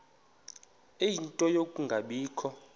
ie nto yokungabikho